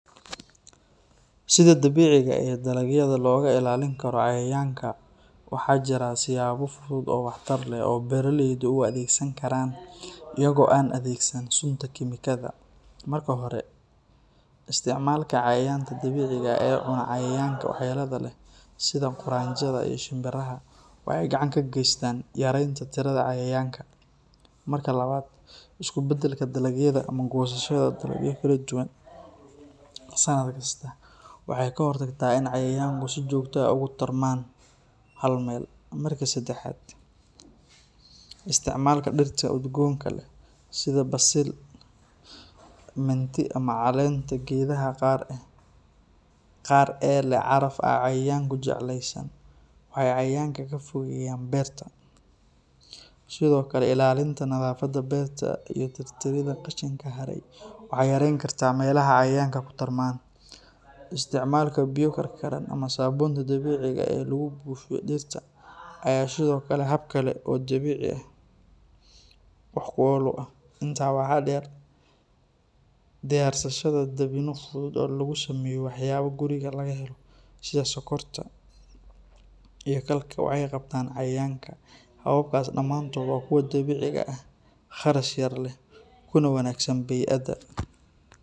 Sida dabiiciga ah ee dalagyada looga ilaalin karo cayayaanka waxaa jira siyaabo fudud oo waxtar leh oo beeraleydu u adeegsan karaan iyaga oo aan adeegsan sunta kiimikada. Marka hore, isticmaalka cayayaanka dabiiciga ah ee cuna cayayaanka waxyeellada leh, sida quraanjada iyo shinbiraha, waxay gacan ka geystaan yareynta tirada cayayaanka. Marka labaad, isku beddelka dalagyada ama goosashada dalagyo kala duwan sanad kasta waxay ka hortagtaa in cayayaanku si joogto ah ugu tarmaan hal meel. Marka saddexaad, isticmaalka dhirta udgoonka leh sida basil, mint ama caleenta geedaha qaar ee leh caraf aan cayayaanku jeclaysan, waxay cayayaanka ka fogeeyaan beerta. Sidoo kale, ilaalinta nadaafadda beerta iyo tirtiridda qashinka haray waxay yareyn kartaa meelaha cayayaanku ku tarmaan. Isticmaalka biyo karkaran ama saabuunta dabiiciga ah ee lagu buufiyo dhirta ayaa sidoo kale ah hab kale oo dabiici ah oo wax ku ool ah. Intaa waxaa dheer, diyaarsashada dabinno fudud oo laga sameeyo waxyaabo guriga laga helo sida sokorta iyo khalka waxay qabtaan cayayaanka. Hababkaas dhammaantood waa kuwa dabiici ah, kharash yar leh, kana wanaagsan bey’adda.